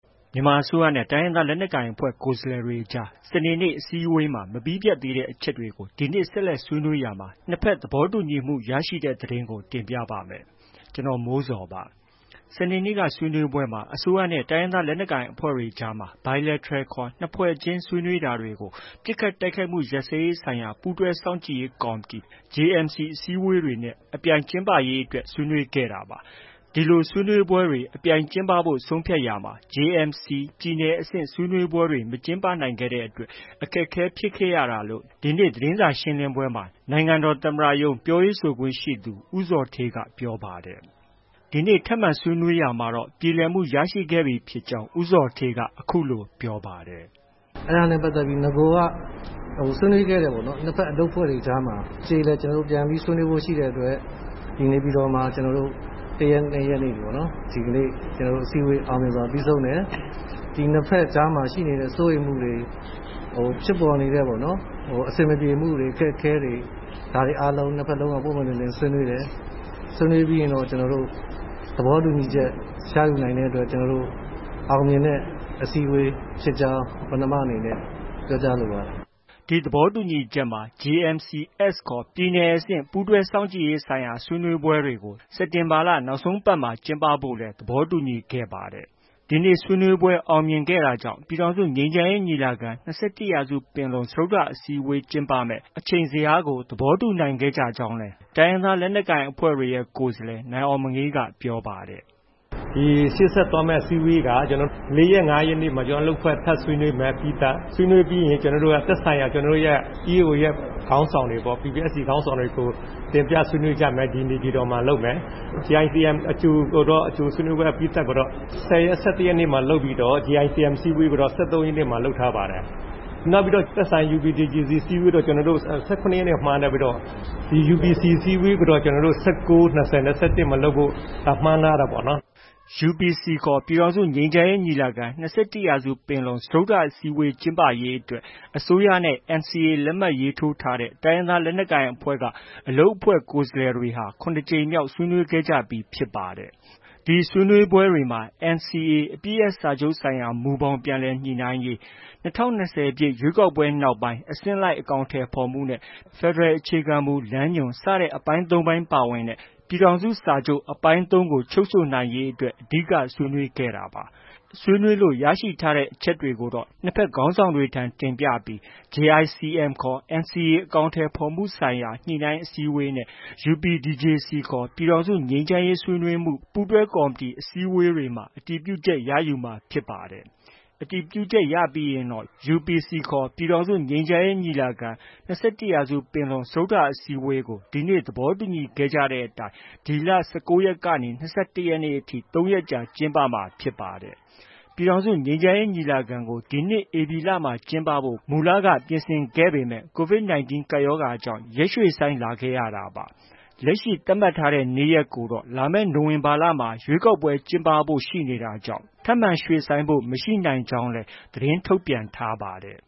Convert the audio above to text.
မြန်မာအစိုးရနဲ့ တိုင်းရင်းသား လက်နက်ကိုင်အဖွဲ့ ကိုယ်စားလှယ်တွေကြား စနေနေ့ အစည်းအဝေးမှာ မပြီးပြတ်သေးတဲ့ အချက်တွေကို ဒီနေ့ ဆက်လက်ဆွေးနွေးရာမှာ နှစ်ဖက်သဘောတူညီမှု ရခဲ့ကြပါတယ်။ အပြည့်အစုံကို ကိုမိုးဇော်က စုစည်းတင်ပြထားပါတယ်။ စနေနေ့ ဆွေးနွေးပွဲမှာ အစိုးရနဲ့ တိုင်းရင်းသား လက်နက်ကိုင်အဖွဲ့တွေအကြားမှာ Bilateral ခေါ် နှစ်ဖွဲ့ချင်း ဆွေးနွေးတာတွေကို ပစ်ခတ်တိုက်ခိုက်မှု ရပ်စဲရေးဆိုင်ရာ ပူးတွဲစောင့်ကြည့်ရေး ကော်မတီ အစည်းအဝေးတွေနဲ့ Parallel အပြိုင်ကျင်းပရေးအတွက် ဆွေးနွေးခဲ့တာပါ။ ဒီလို ဆွေးနွေးပွဲတွေ အပြိုင်ကျင်းပဖို့ ဆုံးဖြတ်ရာမှာ JMC ပြည်နယ်အဆင့် ဆွေးနွေးပွဲတွေ မကျင်းပနိုင်ခဲ့တဲ့အတွက် အခက်အခဲ ဖြစ်ခဲ့ရတာလို့ ဒီနေ့ သတင်းစာရှင်းလင်းပွဲမှာ နိုင်ငံတော်သမ္မတရုံး ပြောခွင့်ရသူ ဦးဇော်ဌေးက ပြောပါတယ်။ ဒီနေ့ ထပ်မံဆွေးနွေးရာမှာတော့ ပြေလည်မှု ရခဲ့ပြီဖြစ်ကြောင်း ဦးဇော်ဌေးက အခုလို ဆက်ပြောပါတယ်။ “အဲဒါနဲ့ပတ်သက်ပြီး နဂိုက ဆွေးနွေးခဲ့တယ်ပေါ့နော်။ နှစ်ဖက် အလုပ်အဖွဲ့ကြားမှာ အကျေအလည် ပြန်ပြီးဆွေးနွေးဖို့ ရှိတဲ့အတွက် နေပြည်တော်မှာ ကျနော်တို့ ၁ ရက်၊ ၂ ရက်နေ့ပေါ့။ ဒီကနေ့ အစည်းအဝေး အောင်မြင်စွာ ပြီးဆုံးတယ်။ ဒီနှစ်ဖက်ကြားမှာ ရှိနေတဲ့ စိုးရိမ်မှုတွေ၊ ဖြစ်ပေါ်နေတဲ့ အဆင်မပြေမှုတွေ၊ ဒါတွေအားလုံး နှစ်ဖက်လုံးက ပွင့်ပွင့်လင်းလင်း ဆွေးနွေးတယ်။ ဆွေးနွေးပြီးရင်တော့ သဘောတူညီချက် ရယူနိုင်တဲ့အတွက် ကျနော်တို့ အောင်မြင်တဲ့ အစည်းအဝေးဖြစ်ကြောင်း ပဏာမအနေနဲ့ ပြောကြားလိုပါတယ်။” ဒီသဘောတူညီချက်မှာ JMC-S ခေါ် ပြည်နယ်အဆင့် ပူးတွဲစောင့်ကြည့်ရေးဆိုင်ရာ ဆွေးနွေးပွဲတွေ စက်တင်ဘာ နောက်ဆုံးပတ်မှာ ကျင်းပဖို့လည်း သဘောတူညီခဲ့ကြပါတယ်။ ဒီနေ့ ဆွေးနွေးပွဲ အောင်မြင်ခဲ့တာကြောင့် ပြည်ထောင်စုငြိမ်းချမ်းရေးညီလာခံ - ၂၁ ရာစုပင်လုံ စတုတ္ထအစည်းအဝေး ကျင်းပမယ့် အချိန်ဇယားကို သဘောတူညီနိုင်ခဲ့ကြကြောင်းလည်း တိုင်းရင်းသား လက်နက်ကိုင်အဖွဲ့တွေရဲ့ ကိုယ်စားလှယ် နိုင်အောင်မငေးက ပြောပါတယ်။ “ရှေ့ဆက်သွားမယ့် အစည်းအဝေးက ၄ ရက်၊ ၅ ရက်နေ့မှာ ကျနော်တို့ အလုပ်အဖွဲ့ ထပ်ဆွေးနွေးမယ် အပြီးသတ်။ ဆွေးနွေးပြီးရင် သက်ဆိုင်ရာ ကျနော်တို့ရဲ့ EAO တွေရဲ့ ခေါင်းဆောင်တွေပေါ့။ PPST ခေါင်းဆောင်တွေကို တင်ပြဆွေးနွေးကြမယ်။ ဒီ နေပြည်တော်မှာလုပ်မယ်။ JICM အကြို အကြိုအပြီးသတ်ကိုတော့ ၁၀ ရက်၊ ၁၁ ရက်မှာ လုပ်ပြီးတော့ JICM အစည်းအဝေးကိုတော့ ၁၃ ရက်နေ့မှာ လုပ်ထားပါတယ်။ သက်ဆိုင်ရာ UPDJC အစည်းအဝေးကိုတော့ ၁၇ ရက်နေ့မှာ မှန်းထားပြီးတော့ UPC အစည်းအဝေးကိုတော့ ၁၉၊ ၂၀၊ ၂၁ မှာလုပ်ဖို့ မှန်းထားတာပေါ့နော်။” UPC ခေါ် ပြည်ထောင်စုငြိမ်းချမ်းရေးညီလာခံ - ၂၁ ရာစုပင်လုံ စတုတ္ထ အစည်းအဝေး ကျင်းပရေးအတွက် အစိုးရနဲ့ NCA လက်မှတ်ထိုး တိုင်းရင်းသား လက်နက်ကိုင်အဖွဲ့က အလုပ်အဖွဲ့ ကိုယ်စားလှယ်တွေဟာ ၇ ကြိမ်မြောက် ညှိနှိုင်းခဲ့ကြပြီးလည်း ဖြစ်ပါတယ်။ ဒီအစည်းအဝေးတွေမှာ NCA အပစ်ရပ်စာချုပ်ဆိုင်ရာ မူဘောင် ပြန်လည်ညှိနှိုင်းရေး၊ ၂၀၂၀ ပြည့် ရွေးကောက်ပွဲနောက်ပိုင်း အဆင့်လိုက် အကောင်အထည်ဖော်မှုနဲ့ ဖက်ဒရယ် အခြေခံမူလမ်းညွှန် စတဲ့ အပိုင်း ၃ ပိုင်း ပါဝင်တဲ့ ပြည်ထောင်စုစာချုပ် အပိုင်း ၃ ကို အဓိက ဆွေးနွေးခဲ့တာပါ။ ရရှိတဲ့ အချက်တွေကိုတော့ နှစ်ဖက်ခေါင်းဆောင်တွေထံ တင်ပြပြီး JICM ခေါ် NCA အကောင်အထည်ဖော်မှုဆိုင်ရာ ညှိနှိုင်းအစည်းအဝေးနဲ့ UPDJC ခေါ် ပြည်ထောင်စုငြိမ်းချမ်းရေး ဆွေးနွေးမှု ပူးတွဲကော်မတီ စတဲ့ အစည်းအဝေးတွေမှာ အတည်ပြုချက်ရယူမှာ ဖြစ်ပါတယ်။ အတည်ပြုချက် ရယူပြီးရင်တော့ UPC ခေါ် ပြည်ထောင်စုငြိမ်းချမ်းရေးညီလာခံ - ၂၁ ရာစုပင်လုံ စတုတ္ထအစည်းအဝေးကို ဒီနေ့ သဘောတူညီခဲ့ကြတဲ့အတိုင်း ဒီလ ၁၉ ရက်ကနေ ၂၁ ရက်ထိ ၃ ရက်ကြာ ကျင်းပမှာဖြစ်ပါတယ်။ ပြည်ထောင်စုငြိမ်းချမ်းရေး ညီလာခံကို ဒီနှစ် ဧပြီလမှာ ကျင်းပဖို့ မူလက ပြင်ဆင်ခဲ့ပေမယ့် COVID-19 ကပ်ရောဂါကြောင့် ရက်ရွှေ့ဆိုင်းလာခဲ့ရတာပါ။ လက်ရှိ သတ်မှတ်ထားတဲ့ နေ့ရက်ကိုတော့ လာမယ့် နိုဝင်ဘာလမှာ ရွေးကောက်ပွဲ ကျင်းပဖို့လည်း ရှိနေတာကြောင့် ထပ်မံပြောင်းရွှေ့ဖို့ မရှိနိုင်ကြောင်းလည်း သတင်းထုတ်ပြန်ထားပါတယ်